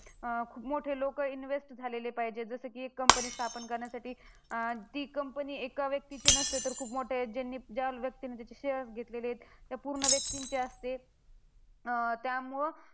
खूप मोठे लोकं invest झालेले पाहिजे, जसं की एक company स्थापन करण्यासाठी अं ती company एका व्यक्तीची नसते, तर खूप मोठ्या ज्यांनी ज्या व्यक्तींनी तिचे shares घेतलेले ए त्या पूर्ण व्यक्तींची असते. त्यामुळं